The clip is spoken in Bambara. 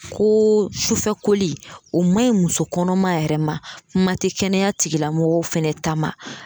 Ko sufɛkoli o ma ɲi muso kɔnɔma yɛrɛ ma kuma tɛ kɛnɛya tigi lamɔgɔw fana ta ma.